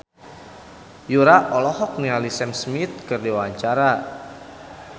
Yura olohok ningali Sam Smith keur diwawancara